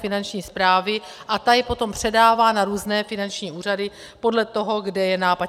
Finanční správy a ta je potom předává na různé finanční úřady podle toho, kde je nápad.